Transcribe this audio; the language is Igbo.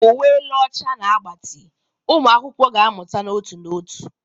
Uwe elu ọcha na agbatị, ụmụ akwụkwọ ga-amụta n'otu n'otu.